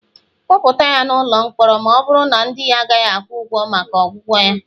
kpọpụta ya n'ụlọ mkpọrọ, ma ọ bụrụ na ndị ya agaghị akwụ ụgwọ maka ọgwụgwọ ya